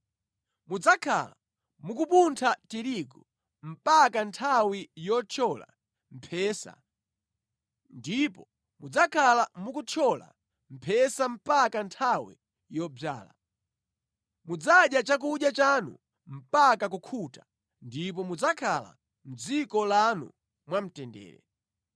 Mudzakhala mukupuntha tirigu mpaka nthawi yothyola mphesa, ndipo mudzakhala mukuthyola mphesa mpaka nthawi yodzala. Mudzadya chakudya chanu mpaka kukhuta ndipo mudzakhala mʼdziko lanu mwamtendere.